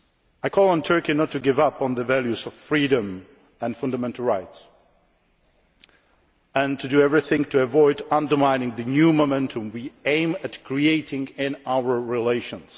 I call on Turkey not to give up on the values of freedom and fundamental rights and to do everything to avoid undermining the new momentum we aim to create in our relations.